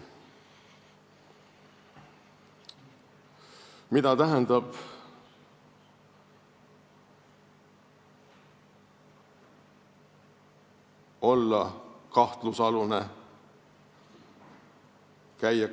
Mida tähendab olla kahtlusalune?